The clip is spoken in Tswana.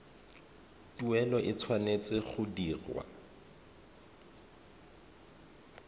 tuelo e tshwanetse go dirwa